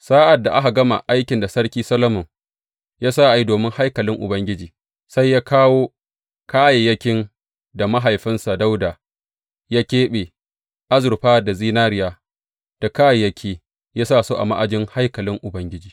Sa’ad da aka gama aikin da Sarki Solomon sa a yi domin haikalin Ubangiji, sai ya kawo kayayyakin da mahaifinsa Dawuda ya keɓe, azurfa da zinariya da kayayyaki, ya sa su a ma’ajin haikalin Ubangiji.